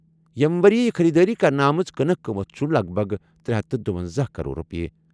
ییٚمہِ ؤرۍ یہِ خٔریٖدٲری کرنہٕ آمٕژ کٕنٕک قۭمت چھُ لَگ بَگ ترے ہتھ دُۄنزَہ کرور رۄپیہِ۔